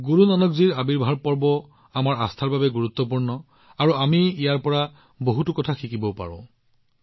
গুৰু নানকজীৰ প্ৰকাশ পৰ্ব আমাৰ আস্থাৰ বাবে যিমান গুৰুত্বপূৰ্ণ আমি ইয়াৰ পৰা সমানে শিকিবলৈও পাওঁ